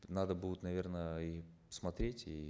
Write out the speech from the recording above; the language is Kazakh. надо будет наверно и смотреть и